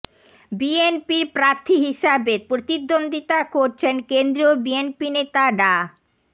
বিএনপির প্রার্থী হিসেবে প্রতিদ্বন্দ্বিতা করছেন কেন্দ্রীয় বিএনপি নেতা ডা